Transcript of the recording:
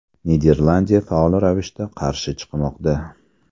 Niderlandiya faol ravishda qarshi chiqmoqda.